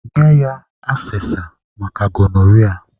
Nye ya asesa maka gonoria.